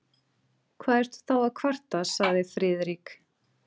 Hvað ertu þá að kvarta? sagði Friðrik.